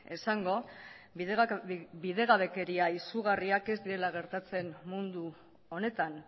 esango bidegabekeria izugarriak ez direla gertatzen mundu honetan